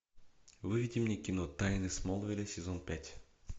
выведи мне кино тайны смолвиля сезон пять